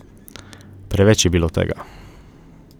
Preveč je bilo tega.